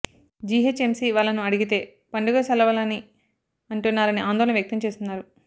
GHMC వాళ్లను అడిగితే పండుగ సెలవులని అంటున్నారని ఆందోళన వ్యక్తం చేస్తున్నారు